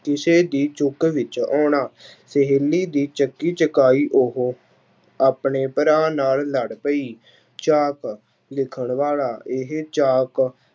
ਕਿਸੇ ਦੀ ਚੁੱਕ ਵਿੱਚ ਆਉਣਾ ਸਹੇਲੀ ਦੀ ਚੱਕੀ ਚਕਾਈ ਉਹ ਆਪਣੇ ਭਰਾ ਨਾਲ ਲੜ ਪਈ ਚਾਕ ਲਿਖਣ ਵਾਲਾ, ਇਹ ਚਾਕ